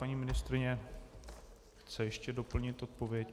Paní ministryně chce ještě doplnit odpověď.